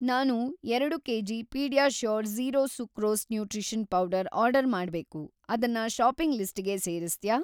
ನಾನು ಎರಡು KG. PediaSure zero sucrose nutrition powder order ಮಾಡ್ಬೇಕು, ಅದನ್ನ ಷಾಪಿಂಗ್‌ ಲಿಸ್ಟಿಗೆ ಸೇರಿಸ್ತ್ಯಾ?